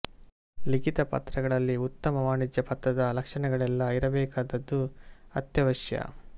ಲಿಖಿತ ಪತ್ರಗಳಲ್ಲಿ ಉತ್ತಮ ವಾಣಿಜ್ಯ ಪತ್ರದ ಲಕ್ಷಣಗಳೆಲ್ಲಾ ಇರಬೇಕಾದದ್ದು ಅತ್ಯವಶ್ಯ